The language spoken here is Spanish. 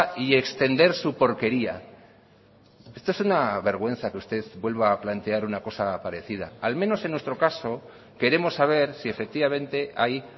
y extender su porquería esto es una vergüenza que usted vuelva a plantear una cosa parecida al menos en nuestro caso queremos saber si efectivamente hay